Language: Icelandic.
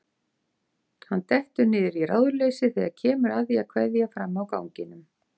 Hann dettur niður í ráðleysi þegar kemur að því að kveðja frammi á ganginum.